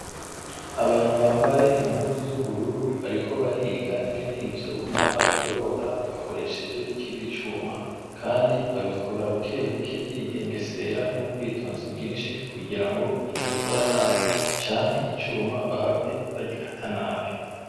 Abantu bambaye impuzu z'ubururu ,bariko bariga ingene ivyuma babigorora bakoresheje ikindi cuma ,kandi babikora bukebuke bigengesera n'ubwitonzi bwinshi kugira ngo batabikora nabi canke icuma bahave bagikata nabi.